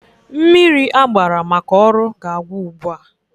Mmiri agbara maka ọrụ ga-agwụ ugbua.